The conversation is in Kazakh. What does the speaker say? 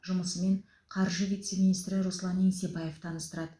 жұмысымен қаржы вице министрі руслан еңсебаев таныстырады